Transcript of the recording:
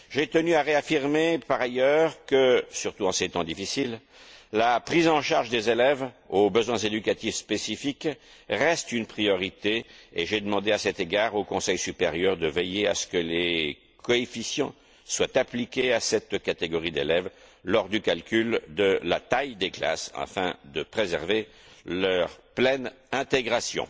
J'ai tenu à réaffirmer par ailleurs que, surtout en ces temps difficiles, la prise en charge des élèves aux besoins éducatifs spécifiques reste une priorité, et j'ai demandé à cet égard au Conseil supérieur de veiller à ce que les coefficients soient appliqués à cette catégorie d'élèves lors du calcul de la taille des classes afin de préserver leur pleine intégration.